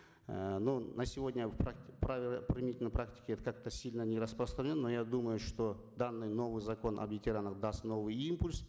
эээ но на сегодня в применительно практике как то сильно не распространено но я думаю что данный новый закон о ветеранах даст новый импульс